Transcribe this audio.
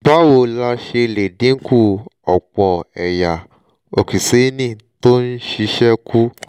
báwo la ṣe lè dínku ọ̀pọ̀ ẹ̀yà okíṣéènì tó ń ṣiṣẹ́ kù?